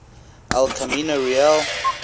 el camino real